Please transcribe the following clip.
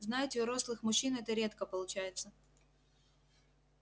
знаете у рослых мужчин это редко получается